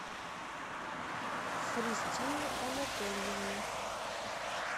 христине анатольевне